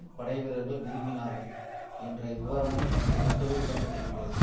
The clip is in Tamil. படை வீர்ர்கள் விரும்பினார்கள் என்ற விபரமும் அந்த கட்டுரையில் இடம் பெற்றிருக்கிறது